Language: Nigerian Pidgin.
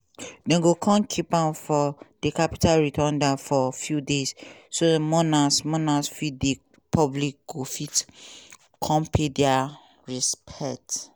dem go kon keep am for di capitol rotunda for few days so mourners mourners from di public go fit come pay dia respects.